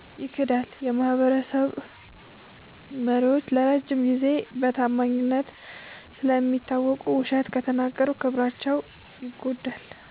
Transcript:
ይክዳል። · የማህበረሰብ መሪዎች ለረጅም ጊዜ በታማኝነት ስለሚታወቁ፣ ውሸት ከተናገሩ ክብራቸው ይጎዳል።